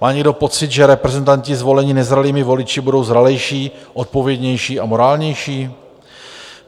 Má někdo pocit, že reprezentanti zvolení nezralými voliči budou zralejší, odpovědnější a morálnější?